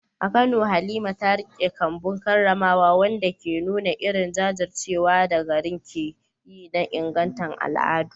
A Kano, Halima ta riƙe kambun karramawa, wanda ke nuna irin jajircewar da garin ke yi na inganta al’adu.